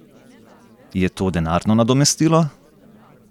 Je to denarno nadomestilo?